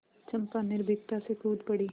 चंपा निर्भीकता से कूद पड़ी